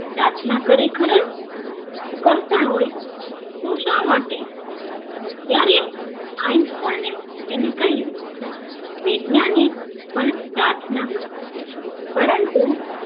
પ્રાર્થના કરે ખર કરતા હોય તું શા માટે ત્યારે einstein એ તેને કહ્યું વૈજ્ઞાનિક પણ પ્રાર્થના કરે પરંતુ